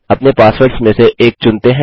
अपने पासवर्ड्स में से एक चुनते हैं